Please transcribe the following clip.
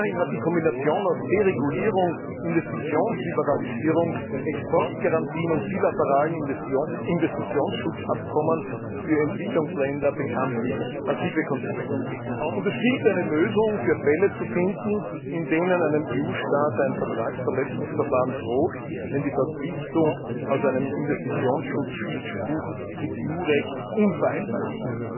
Immerhin hat die Kombination aus Deregulierung, Investitionsliberalisierung, Exportgarantien und bilateralen Investitionsschutzabkommen für Entwicklungsländer bekanntlich massive Konsequenzen, und es gilt eine Lösung für Fälle zu finden, in denen einem EU Staat ein Vertragverletzungsverfahren droht, wenn die Verpflichtung aus einem Investitionsschutzschiedsspruch mit EU Recht unvereinbar ist.